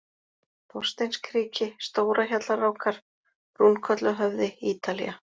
Þorsteinskriki, Stórahjallarákar, Brúnkolluhöfði, Ítalía